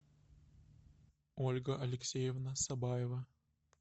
ольга алексеевна сабаева